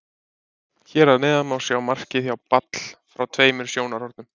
Hér að neðan má sjá markið hjá Ball frá tveimur sjónarhornum.